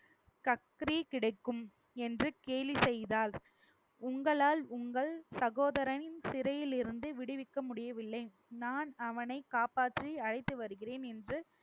கக்ரி கிடைக்கும் என்று கேலி செய்தால் உங்களால் உங்கள் சகோதரனின் சிறையிலிருந்து விடுவிக்க முடியவில்லை நான் அவனை காப்பாற்றி அழைத்து வருகிறேன் என்று